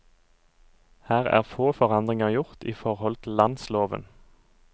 Her er få forandringer gjort i forhold til landsloven.